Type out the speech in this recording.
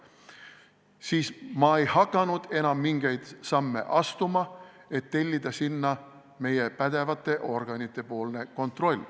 Siis ma ei hakanud enam mingeid samme astuma, et tellida sinna meie pädevate organite kontroll.